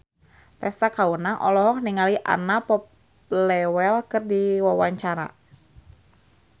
Tessa Kaunang olohok ningali Anna Popplewell keur diwawancara